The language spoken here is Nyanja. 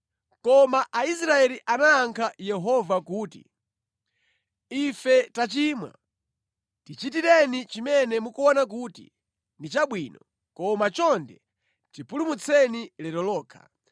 Koma Aisraeli anayankha Yehova kuti, “Ife tachimwa. Tichitireni chimene mukuona kuti ndi chabwino, koma chonde tipulumutseni lero lokha.”